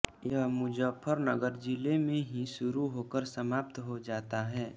यह मुजफ्फरनगर जिले में ही शुरू होकर समाप्त हो जाता है